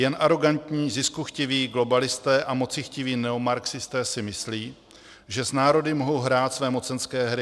Jen arogantní ziskuchtiví globalisté a mocichtiví neomarxisté si myslí, že s národy mohou hrát své mocenské hry.